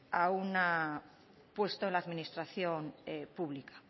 a un puesto en la administración pública